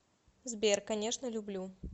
сбер конечно люблю